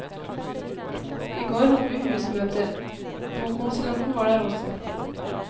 I går hadde vi husmøte, bokonsulenten var der også.